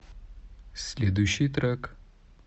следующий трек